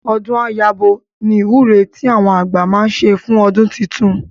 Ọdún á yabo ni ìwúre tí àwọn àgbà máa ń ṣe fún ọdún titun